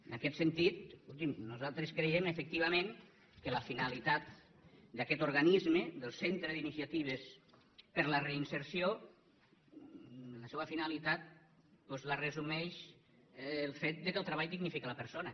en aquest sentit escolti’m nosaltres creiem efectivament que la finalitat d’aquest organisme del centre d’iniciatives per a la reinserció la seua finalitat doncs la resumeix el fet que el treball dignifica la persona